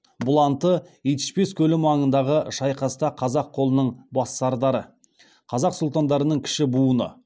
бұланты итішпес көлі маңындағы шайқаста қазақ қолының бас сардары қазақ сұлтандарының кіші буыны